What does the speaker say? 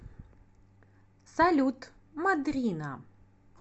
салют мадрина